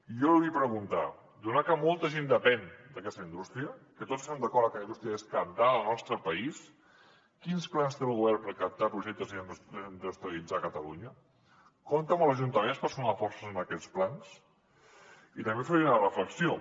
jo li vull preguntar donat que molta gent depèn d’aquesta indústria que tots estem d’acord en que la indústria és cabdal al nostre país quins plans té el govern per captar projectes i reindustrialitzar catalunya compta amb els ajuntaments per sumar forces en aquests plans i també faria una reflexió